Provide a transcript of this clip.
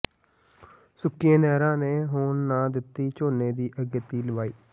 ਸੁੱਕੀਆਂ ਨਹਿਰਾਂ ਨੇ ਹੋਣ ਨਾ ਦਿੱਤੀ ਝੋਨੇ ਦੀ ਅਗੇਤੀ ਲਵਾਈ